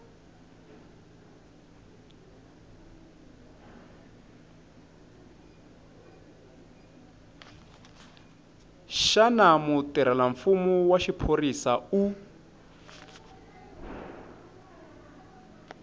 xana mutirhelamfumo wa xiphorisa u